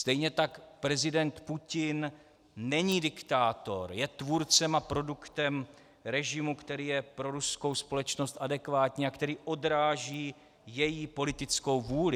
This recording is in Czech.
Stejně tak prezident Putin není diktátor, je tvůrcem a produktem režimu, který je pro ruskou společnost adekvátní a který odráží její politickou vůli.